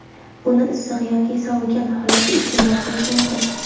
Uni issiq yoki sovigan holatda iste’mol qilish mumkin.